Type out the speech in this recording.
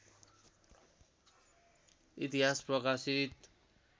इतिहास प्रकाशित